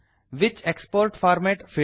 which export format